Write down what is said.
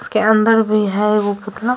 उसके अंदर भी है वो पुतला।